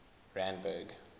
randburg